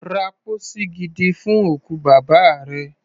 Ra pósí gidi fún òkú bàbá rẹ.